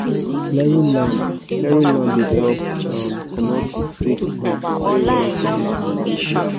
clearing land clearing land dey help comot sick plants wey remain from last farming season